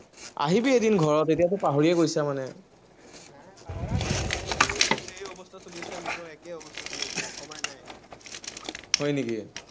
আহিবি এদিন ঘৰত, এতিয়াতো পাহৰিয়ে গৈছ মানে হয় নেকি।